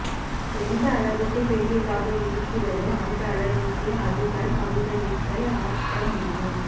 எந்த அளவுக்கு பெரியதாக இருக்கிறதோ அந்த அளவுக்கே அது தன் பங்களிப்பை ஆற்ற முடியும்